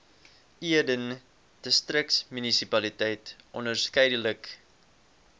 eden distriksmunisipaliteit onderskeidelik